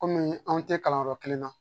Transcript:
Kɔmi anw te kalan yɔrɔ kelen na